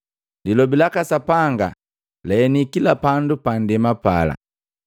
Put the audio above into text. Lilobi laka Sapanga laheni kila pandu pa ndema pala.